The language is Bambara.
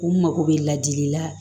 U mago bɛ ladili la